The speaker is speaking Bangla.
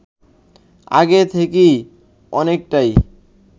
আগের থেকে অনেকটাই